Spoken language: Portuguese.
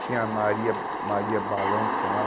Tinha a Maria, Maria Balão que tinha lá.